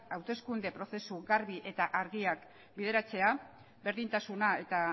hauteskunde prozesu garbi eta argiak bideratzea berdintasuna eta